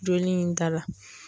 Joli in da la.